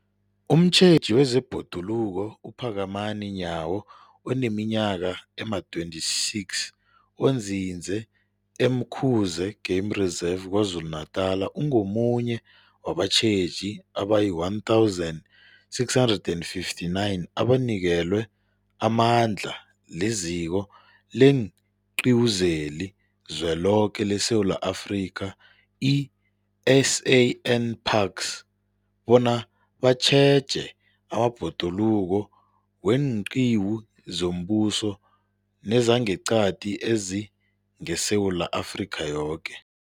Umtjheji wezeBhoduluko uPhakamani Nyawo oneminyaka ema-26, onzinze e-Umkhuze Game Reserve KwaZulu-Natala, ungomunye wabatjheji abayi-1 659 abanikelwe amandla liZiko leenQiwu zeliZweloke leSewula Afrika, i-SANParks, bona batjheje amabhoduluko weenqiwu zombuso nezangeqadi ezingeSewula Afrika yoke.